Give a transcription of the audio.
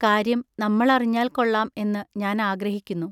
ൟ കാര്യം നമ്മൾ അറിഞ്ഞാൽ കൊള്ളാം എന്നു ഞാൻ ആഗ്രഹിക്കുന്നു.